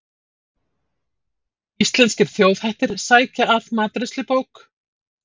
Íslenskir þjóðhættir sækja að matreiðslubók